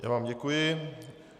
Já vám děkuji.